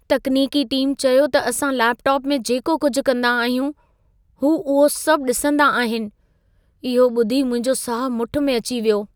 तकनीकी टीम चयो त असां लेपटॉप में जेको कुझि कंदा आहियूं, हू उहो सभ ॾिसंदा आहिन। इहो ॿुधी मुंहिंजो साह मुठु में अची वियो।